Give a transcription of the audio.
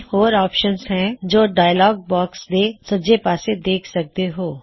ਤਿੰਨ ਹੋਰ ਆਪ੍ਸ਼ਨ ਨੇ ਜੋ ਕੀ ਡਾਇਅਲੌਗ ਬਾਕ੍ਸ ਦੇ ਸੱਜੇ ਪਾਸੇ ਦੇਖ ਸਕਦੇ ਹੋ